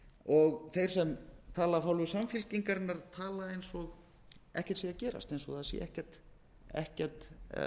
og þeir sem tala af hálfu samfylkingarinnar tala eins og ekkert sé að gerast eins og það sé ekkert